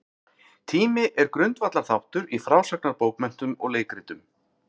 Tími er grundvallarþáttur í frásagnarbókmenntum og leikritum.